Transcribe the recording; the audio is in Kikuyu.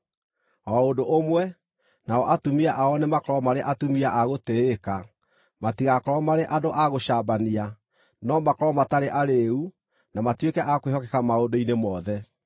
O ũndũ ũmwe, nao atumia ao nĩmakorwo marĩ atumia a gũtĩĩka, matigakorwo marĩ andũ a gũcambania, no makorwo matarĩ arĩĩu na matuĩke a kwĩhokeka maũndũ-inĩ mothe.